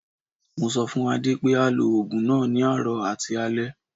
Mo sọ fún Adé pé á lo ogun náà ní àárọ̀ àti alẹ.